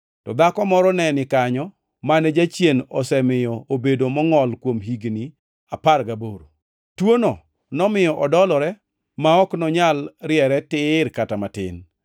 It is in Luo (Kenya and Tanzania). to dhako moro ne ni kanyo mane jachien osemiyo obedo mongʼol kuom higni apar gaboro. Tuono nomiyo odolore ma ok nonyal riere tir kata matin.